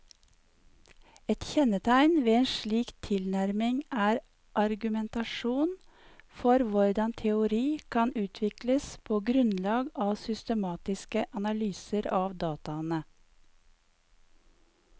Et kjennetegn ved en slik tilnærming er argumentasjonen for hvordan teori kan utvikles på grunnlag av systematiske analyser av dataene.